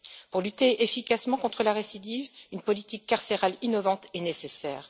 Pour lutter efficacement contre la récidive, une politique carcérale innovante est nécessaire.